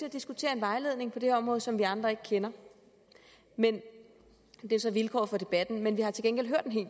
at diskutere en vejledning på det her område som vi andre ikke kender men det er så vilkåret for debatten vi har til gengæld hørt